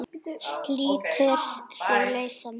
Slítur sig lausan.